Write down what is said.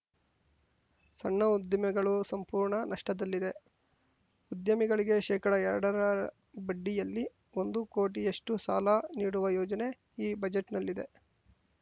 ಸಣ್ಣ ಉದ್ದಿಮೆಗಳು ಸಂಪೂರ್ಣ ನಷ್ಟದಲ್ಲಿದೆ ಉದ್ಯಮಿಗಳಿಗೆ ಶೇಕಡಎರಡರ ಬಡ್ಡಿಯಲ್ಲಿ ಒಂದು ಕೋಟಿಯಷ್ಟುಸಾಲ ನೀಡುವ ಯೋಜನೆ ಈ ಬಜೆಟ್‌ನಲ್ಲಿದೆ